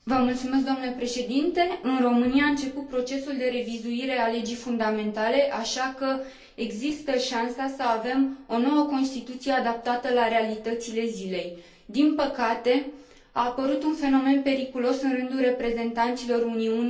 În România a început procesul de revizuire a legii fundamentale, așa că există șansa să avem o nouă constituție adaptată la realitățile zilei Din păcate, a apărut un fenomen periculos în rândul reprezentanților Uniunii Social Liberale.